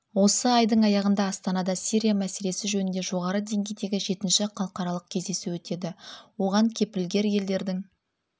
осы айдың аяғында астанада сирия мәселесі жөнінде жоғары деңгейдегі жетінші халықаралық кездесу өтеді оған кепілгер елдердің